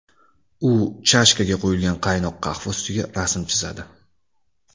U chashkaga quyilgan qaynoq qahva ustiga rasm chizadi.